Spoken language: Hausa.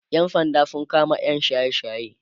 ƴan sanda sun kama yam shaye shaye